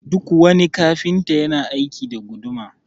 Duk wani Kafinta yana aiki da guduma